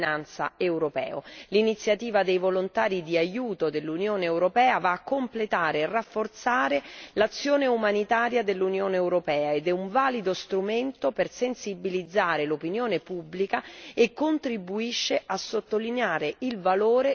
L'iniziativa dei volontari di aiuto dell'Unione europea va a completare e a rafforzare l'azione umanitaria dell'Unione europea ed è un valido strumento per sensibilizzare l'opinione pubblica e contribuisce a sottolineare il valore della cittadinanza europea.